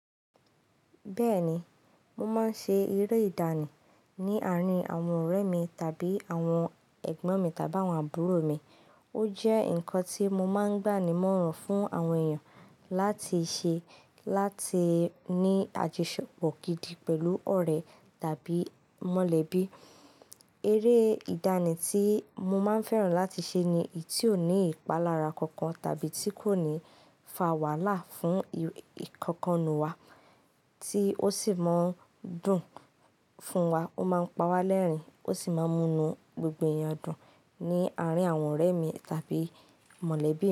Bẹ́ẹ̀ni, mo máa ń ṣe eré ìdánì ní àárín àwọn ọ̀rẹ́ mi tàbí àwọn ẹ̀gbọ́n mi tàbí àwọn àbúrò mi. Ó jẹ́ nǹkan tí mo máa ń gbà ní mọ́ràn fún àwọn èèyàn láti ṣe láti ní àjọṣepọ̀ gidi pẹ̀lú ọ̀rẹ́ tàbí mọ̀lẹ́bí. Eré ìdánì tí mo máa ń fẹ́ràn láti ṣe ni èyí tí ò ní ìpalára kankan tàbí tí kò ní fa wàhálà fún ìkankan nù wa, tí ó sì máa ń dùn fún wa, ó máa ń pa wá lẹ́rìn-ín, ó sì máa ń mú inú gbogbo èèyàn dùn ní àárín àwọn ọ̀rẹ́ mi tàbí mọ̀lẹ́bí.